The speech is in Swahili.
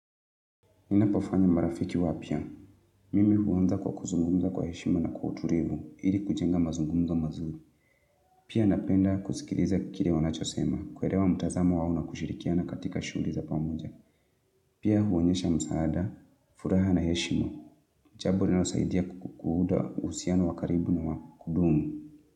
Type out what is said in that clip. Nina pofanya marafiki wapia. Mimi huwanza kwa kuzungumza kwa heshimo na kuturivu, ili kujenga mazungumza mazuli. Pia napenda kusikiliza kiri wanachosema, kwelewa mutazamo wauna kushirikia na katika shuri za pamuja. Pia huonyesha msaada, furaha na heshimo. Jaburina usaidia kukuhuda usiano wakaribu na wakudumu.